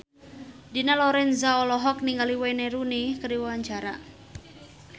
Dina Lorenza olohok ningali Wayne Rooney keur diwawancara